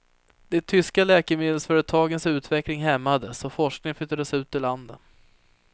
De tyska läkemedelsföretagens utveckling hämmades och forskning flyttades ut ur landet.